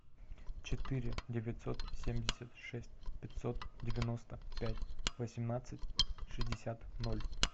четыре девятьсот семьдесят шесть пятьсот девяносто пять восемнадцать шестьдесят ноль